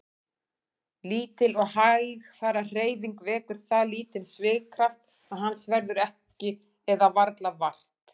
Lítil og hægfara hreyfing vekur það lítinn svigkraft að hans verður ekki eða varla vart.